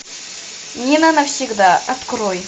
нина навсегда открой